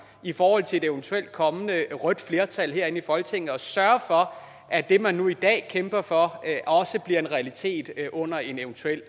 i forhold til et eventuelt kommende rødt flertal her i folketinget og sørge for at det man nu i dag kæmper for også bliver en realitet under en eventuelt